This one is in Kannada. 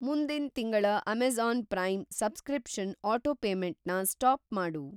ಮುಂದಿನ್‌ ತಿಂಗಳ ಅಮೆಜಾ಼ನ್‌ ಪ್ರೈಮ್ ಸಬ್‌ಸ್ಕ್ರಿಪ್ಷನ್‌ ಅಟೋಪೇಮೆಂಟ್‌ನ ಸ್ಟಾಪ್‌ ಮಾಡು.